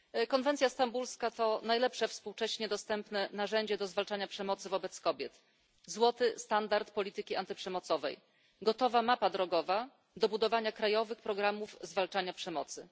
Konwencja stambulska to najlepsze współcześnie dostępne narzędzie zwalczania przemocy wobec kobiet, złoty standard polityki antyprzemocowej, gotowa mapa drogowa do budowania krajowych programów zwalczania przemocy.